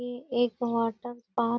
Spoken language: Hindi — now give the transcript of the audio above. ये एक वाटर पार्क --